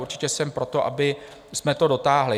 Určitě jsem pro to, abychom to dotáhli.